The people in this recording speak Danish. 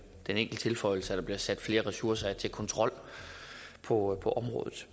den enkle tilføjelse at der bliver sat flere ressourcer af til kontrol på på området